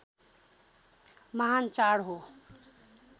महान् चाड हो